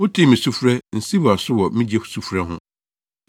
Wotee me sufrɛ: “Nsiw wʼaso wɔ me gye sufrɛ ho.”